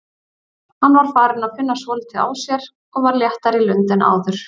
Hann var farinn að finna svolítið á sér og var léttari í lund en áður.